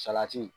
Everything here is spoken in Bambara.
Salati